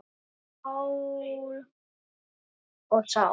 Mál og sál.